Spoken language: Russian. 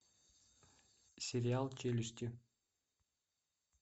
сериал челюсти